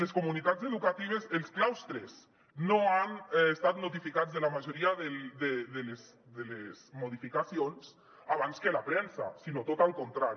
les comunitats educatives els claus·tres no han estat notificats de la majoria de les modificacions abans que la premsa sinó tot el contrari